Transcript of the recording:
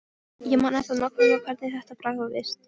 Ég man ennþá nákvæmlega hvernig þetta bragðaðist.